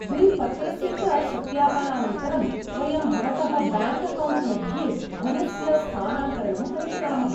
Bill पत्रस्य च सत्यापनानन्तरं, वयं भवतः ब्याङ्क् अकौण्ट् मध्ये धनस्य स्थानान्तरणं करिष्यामः।